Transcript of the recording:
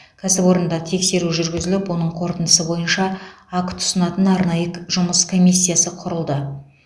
кәсіпорында тексеру жүргізіліп оның қорытындысы бойынша акт ұсынатын арнайы жұмыс комиссиясы құрылды